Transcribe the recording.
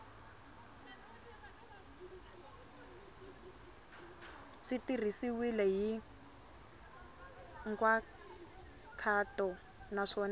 swi tirhisiwile hi nkhaqato naswona